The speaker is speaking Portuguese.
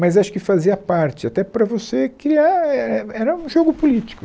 Mas acho que fazia parte, até para você criar, é, é era um jogo político.